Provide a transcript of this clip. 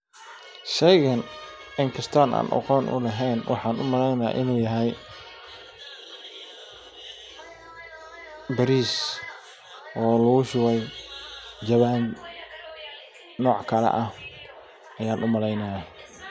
Sheygan in kaston aqon u lehen waxan u maleynaya inu yahay baris oo lagu shubay jawan noc kale ah ayan u maleynaya.